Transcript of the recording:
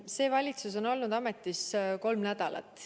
See valitsus on olnud ametis kolm nädalat.